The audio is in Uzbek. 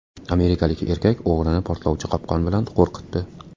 Amerikalik erkak o‘g‘rini portlovchi qopqon bilan qo‘rqitdi .